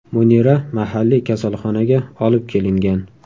Munira mahalliy kasalxonaga olib kelingan.